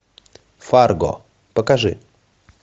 фарго покажи